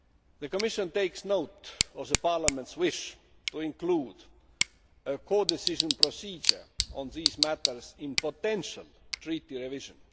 The Commission takes note of Parliament's wish to include a codecision procedure on these matters in potential Treaty revision.